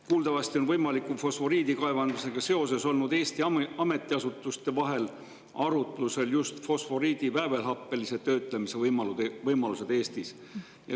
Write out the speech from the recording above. Kuuldavasti on võimaliku fosforiidikaevandusega seoses olnud Eesti ametiasutuste vahel arutusel just fosforiidi väävelhappelise töötlemise võimalused Eestis.